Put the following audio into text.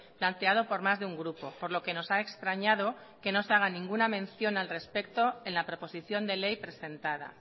planteado por más de un grupo por lo que nos ha extrañado que no se haga ninguna mención al respecto en la proposición de ley presentada